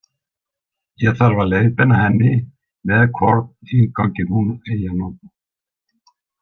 Ég þarf að leiðbeina henni með hvorn innganginn hún eigi að nota.